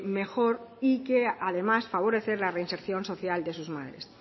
mejor y que además favorecer la reinserción social de sus madres